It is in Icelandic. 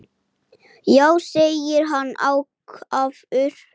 Já, segir hann ákafur.